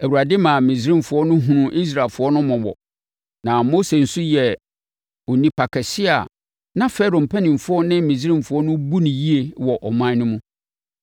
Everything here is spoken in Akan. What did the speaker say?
Awurade maa Misraimfoɔ no hunuu Israelfoɔ no mmɔbɔ, na Mose nso yɛɛ onipa kɛseɛ a na Farao mpanimfoɔ ne Misraimfoɔ no bu no yie wɔ ɔman no mu.